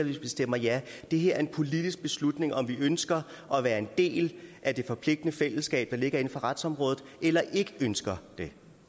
vi stemmer ja det her er en politisk beslutning altså om vi ønsker at være en del af det forpligtende fællesskab der ligger inden for retsområdet eller ikke ønsker det